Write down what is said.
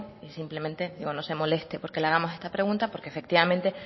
y simplemente no se moleste porque le hagamos esta pregunta porque efectivamente